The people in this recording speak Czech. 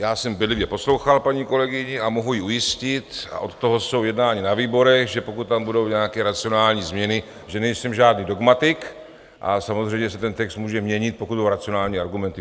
Já jsem bedlivě poslouchal paní kolegyni a mohu ji ujistit, a od toho jsou jednání na výborech, že pokud tam budou nějaké racionální změny, že nejsem žádný dogmatik, a samozřejmě se ten text může měnit, pokud budou racionální argumenty.